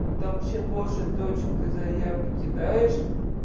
ну там чем больше точек ты заявки кидаешь